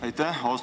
Aitäh!